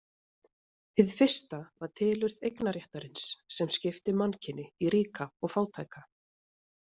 Hið fyrsta var tilurð eignarréttarins sem skipti mannkyni í ríka og fátæka.